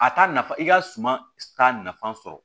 A t'a nafa i ka suma t'a nafa sɔrɔ